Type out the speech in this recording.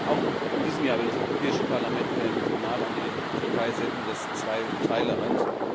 Auch in diesem Jahr will das Europäische Parlament wieder ein Signal an die Türkei senden, das zwei Teile hat.